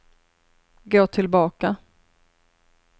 gå tillbaka